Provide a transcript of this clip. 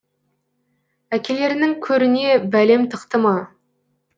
әкелеріңнің көріне бәлем тықты ма